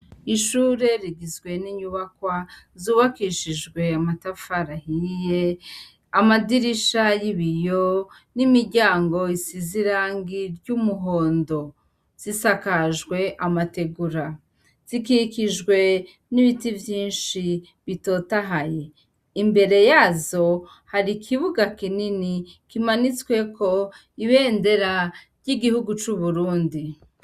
Ishure rigizwe n'inyubakwa zubakishijwe amatafarahiye amadirisha y'ibiyo n'imiryango isizirangi ry'umuhondo zisakajwe amategura zikikijwe n'ibiti vyinshi bitotahaye imbereya azo hari ikibuga kinini kimanitsweko ibendera ry'igihugu c'uburundi.